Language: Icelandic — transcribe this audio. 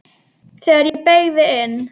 Þegar ég beygði inn